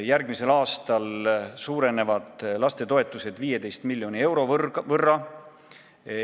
Järgmisel aastal suureneb lastetoetuste summa 15 miljoni euro võrra.